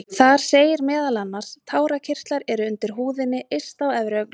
Þar segir meðal annars: Tárakirtlar eru undir húðinni yst á efri augnlokum.